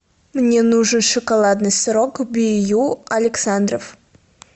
мне нужен шоколадный сырок б ю александров